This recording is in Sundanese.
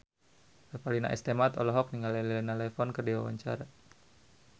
Revalina S. Temat olohok ningali Elena Levon keur diwawancara